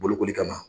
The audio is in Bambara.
Bolokoli kama